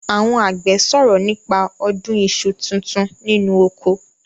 Àwon àgbẹ̀ sòrọ̀ nípa ọdún iṣu tuntun nínú oko.